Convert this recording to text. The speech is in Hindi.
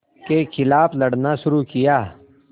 के ख़िलाफ़ लड़ना शुरू किया